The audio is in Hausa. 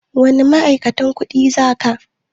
Wani ma'aikatan kuɗin za ka?